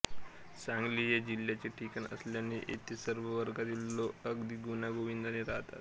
सांगली हे जिल्ह्याचे ठिकाण असल्याने येथे सर्व वर्गातील लोक अगदी गुण्यागोविंदाने राहतात